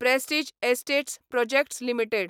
Prestige Estates Projects limited